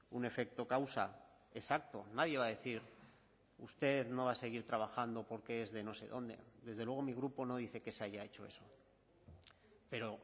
un efecto causa exacto nadie va a decir usted no va a seguir trabajando porque es de no sé dónde desde luego mi grupo no dice que se haya hecho eso pero